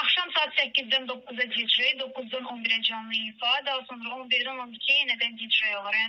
Axşam saat 8-dən 9-a DJ, 9-dan 11-ə canlı ifa, daha sonra 11-dən 12-ə yenə də DJ olur.